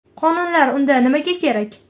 Qonunlar unda nimaga kerak?